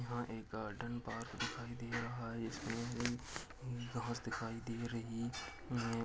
यहाँ एक garden park दिखाई दे रहा है इसमें घास दिखाई दे रही हैं।